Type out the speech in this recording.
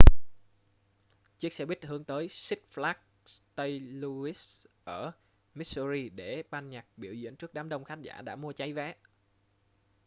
chiếc xe buýt hướng tới six flags st louis ở missouri để ban nhạc biểu diễn trước đám đông khán giả đã mua cháy vé